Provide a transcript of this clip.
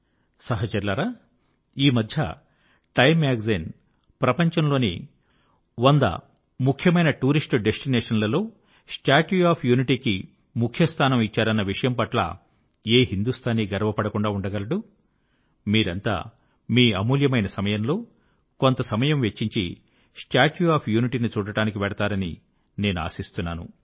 సహచరులారా ఈమధ్య Time magazine ప్రపంచంలోని 100 ముఖ్యమైన టూరిస్ట్ డెస్టినేషన్ లలో స్టాట్యూ ఆఫ్ యూనిటీ కి ముఖ్యస్థానం ఇచ్చారన్న విషయం పట్ల ఏ హిందూస్తానీ గర్వ పడకుండా ఉండగలడు మీరంతా మీ అమూల్యమైన సమయంలో కొంత సమయం వెచ్చించి స్టాట్యూ ఆఫ్ యూనిటీ ని చూడడానికి వెళ్తారని నేను ఆశిస్తున్నాను